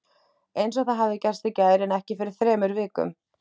Einsog það hefði gerst í gær en ekki fyrir þremur vikum!